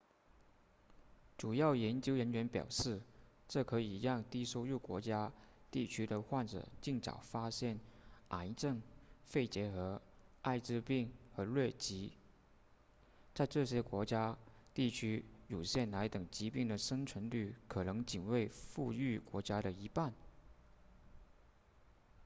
主要研究人员表示这可以让低收入国家地区的患者尽早发现癌症肺结核艾滋病和疟疾在这些国家地区乳腺癌等疾病的生存率可能仅为富裕国家的一半